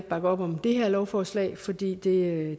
bakke op om det her lovforslag altså fordi det